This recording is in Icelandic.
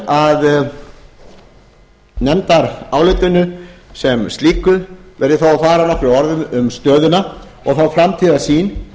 að nefndarálitinu sem slíku verð ég þó að fara nokkrum orðum um stöðuna og þá framtíðarsýn